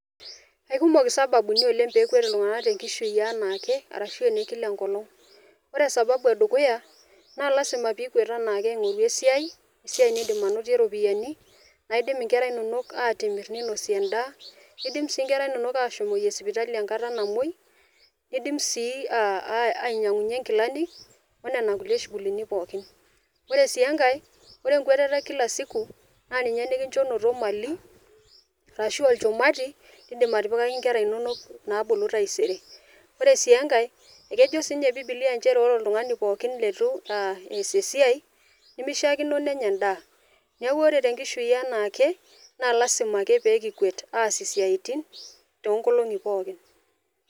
Aikumok isababuni peekwet iltunganak tenkishui anaake arashu ene kila enkolong. Ore sababu edukuya naa lasima pikwet anaake aingoru esiai , esiai nindim anotie iropiyiani , naidim inkera inonok atimir ninosie endaa . Nidim sii inkera inonok ashomoyie sipitali enkata namwoi, nidim sii ainyiangunyie nkilani onena shugulini pookin . Ore sii enkae , ore enkweteta e kila siku naa ninye nikincho inoto mali arashu olchumati ,lindim atipikaki inkera inonok naabulu taisere . Ore sii enake ekejo siinye bibilia ore oltungani pookin leitu eas esiai , nemishiakino nenya endaa. Niaku ore te enkishui eanake naa lasima ake pee kikwet aas isiatin toonkolongi pookin.